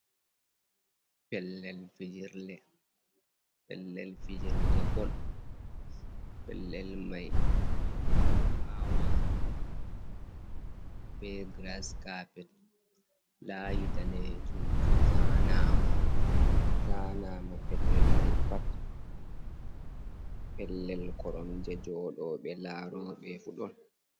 Pellel fijirɗe ɓol pellel mai awama be grascapet ,layi ɗanejum je fu zanama pellel mai pat, pellel koromje joɗoɓe laroɓe fu ɗon.